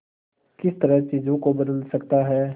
किस तरह चीजों को बदल सकता है